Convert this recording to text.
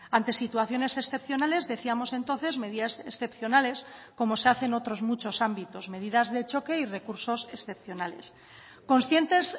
ante situaciones excepcionales decíamos entonces medidas excepcionales como se hace en otros muchos ámbitos medidas de choque y recursos excepcionales conscientes